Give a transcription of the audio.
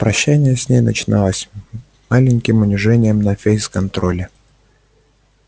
прощание с ней начиналось маленьким унижением на фейс-контроле